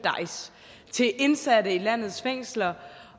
indsatte i landets fængsler